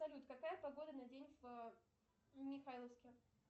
салют какая погода на день в михайловске